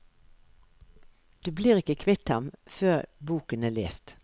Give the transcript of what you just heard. Du blir ikke kvitt ham, før boken er lest.